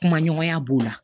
Kuma ɲɔgɔnya b'o la